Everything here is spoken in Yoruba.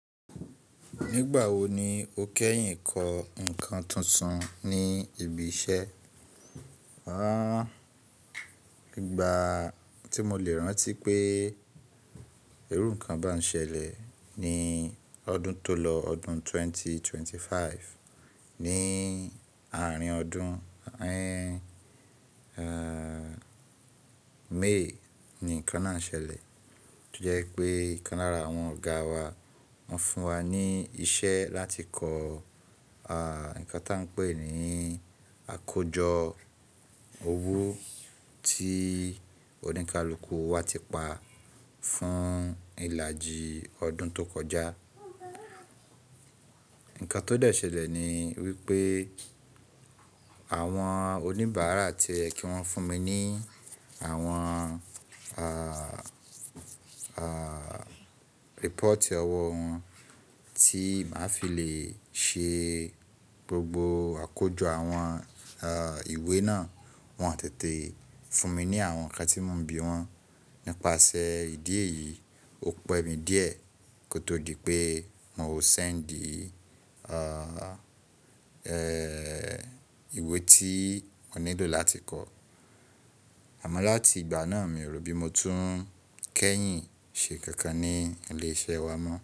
Nígbà wo ni o kẹ́yìn kọ nǹkan tuntun ní ibi iṣẹ́? Aaahn, ìgbà tí mo lè rántí pé irú ǹkan bá ń ṣẹlẹ̀ ni ọdún tó lọ, ọdún 2025. Ni àárín ọdún, May, ni ǹkan náà ṣẹlẹ̀. Tí ó jẹ́ pé, ǹkan lára àwọn ọ̀gáa wa, wọ́n fún wa ní iṣẹ́ láti kọ ǹkan tá a ń pè ní àkójọ owó tí oníkálukú wa ti pa fún ìlàjì ọdún tó kọjá. Ǹkan tó dẹ ṣẹlẹ̀ ni wípé àwọn oníbàárà ti o yẹ kí wọ́n fún mi ní àwọn ah ah, report ọwọ́ wọn tí màá fi lè ṣe gbogbo àkójọ àwọn ìwé náà. Wọn ò tètè fún mi ní àwọn ǹkan tí mò ń bi wọn. Nípasẹ̀ ìdí èyí, o pẹ́ mi díẹ̀ kó tó di pé mò ń sẹ́ńdì a ìwé tí mo nílò láti kọ. Amo lati igba naa, mi o ro bi mo tun kẹ́yìn se nǹkankan ní ile iṣẹ́ wa mo.